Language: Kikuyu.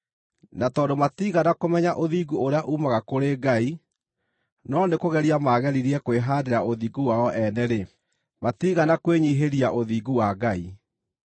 Na tondũ matiigana kũmenya ũthingu ũrĩa uumaga kũrĩ Ngai no nĩ kũgeria maageririe kwĩhaandĩra ũthingu wao ene-rĩ, matiigana kwĩnyiihĩria ũthingu wa Ngai.